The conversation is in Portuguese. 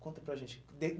Conta para a gente.